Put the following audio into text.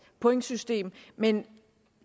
pointsystem men